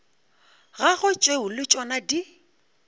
gagwe tšeo le tšona di